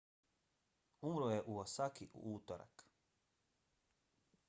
umro je u osaki u utorak